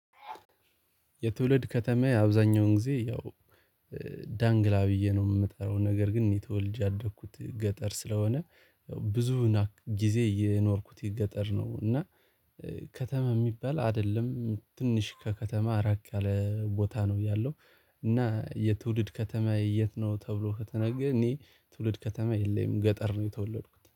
የትውልድ ከተማዬ አብዛኛውን ጊዜ ያው ዳንግላ ብዬ ነው የምጠራው። ነገር ግን እኔ ተወልጅ ያደኩት ገጠር ስለሆነ፤ ብዙ ጊዜ የኖርኩት ገጠር ነው። እና ከተማ የሚባል አይደለም። ትንሽ ከከተማ ራቅ ያለ ቦታ ነው ያለው። እና "የትውድ ከተማዬ የት ነው?" ተብሎ ከተነገረ፤ እኔ ትውልድ ከተማ የለኝም። ገጠር ነው የተወለድኩት።